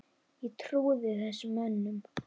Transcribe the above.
Ég trúði þessum mönnum.